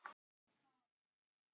Krister, hvað er lengi opið í IKEA?